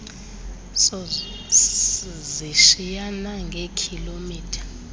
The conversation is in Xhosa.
sos zishiyana ngeekhilomitha